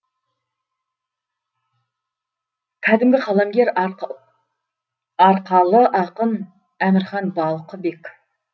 кәдімгі қаламгер арқалы ақын әмірхан балқыбек